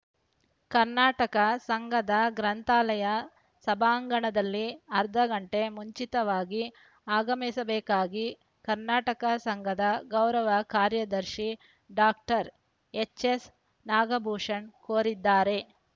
ಕರ್ನಾಟಕ ಸಂಘದ ಗ್ರಂಥಾಲಯ ಸಭಾಂಗಣದಲ್ಲಿ ಅರ್ಧ ಗಂಟೆ ಮುಂಚಿತವಾಗಿ ಆಗಮಿಸಬೇಕಾಗಿ ಕರ್ನಾಟಕ ಸಂಘದ ಗೌರವ ಕಾರ್ಯದರ್ಶಿ ಡಾಕ್ಟರ್ ಎಚ್‌ಎಸ್‌ ನಾಗಭೂಷಣ ಕೋರಿದ್ದಾರೆ